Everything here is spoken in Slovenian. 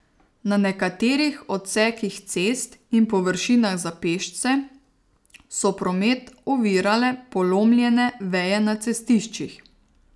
Na nekaterih odsekih cest in površinah za pešce so promet ovirale polomljene veje na cestiščih.